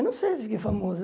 Eu não sei se fiquei famoso.